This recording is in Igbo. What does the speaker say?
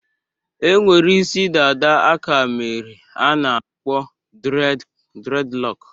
E nwere isi dada aka mere a na akpọ dreadlocks.